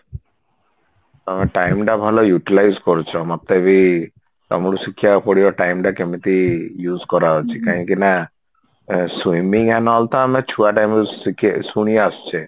ତମେ time ଟା ଭଲ Utilize କରୁଛ ମୋତେ ବି ତମଠୁ ଶିଖିବାକୁ ପଡିବ time ଟା କେମିତି use କରାହଉଛି କାହିଁକି ନା swimming n all ତ ଆମେ ଛୁଆ ବେଳୁ ଶିଖି ଶୁଣି ଆସୁଛେ